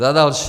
Za další.